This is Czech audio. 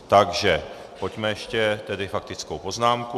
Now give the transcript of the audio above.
Takže pojďme ještě tedy faktickou poznámku.